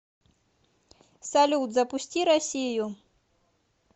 салют запусти россию